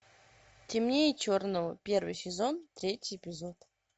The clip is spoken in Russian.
темнее черного первый сезон третий эпизод